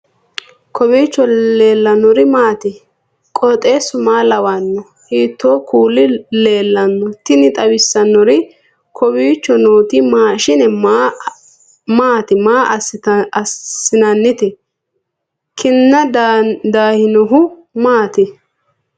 kowiicho leellannori maati ? qooxeessu maa lawaanno ? hiitoo kuuli leellanno ? tini xawissannori kowiicho nooti maashshine maati maa assinannite kinna daahinohu maati